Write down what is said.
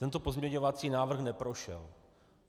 Tento pozměňovací návrh neprošel.